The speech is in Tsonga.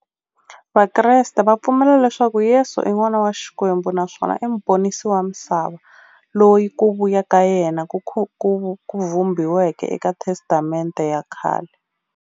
Vakreste va pfumela leswaku Yesu i n'wana wa Xikwembu naswona i muponisi wa misava, loyi ku vuya ka yena ku vhumbiweke eka Testamente ya khale.